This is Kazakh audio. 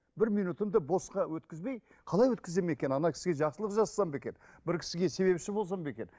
бір минутымды босқа өткізбей қалай өткіземін екен кісіге жақсылық жасасам ба екен бір кісіге себепші болсам ба екен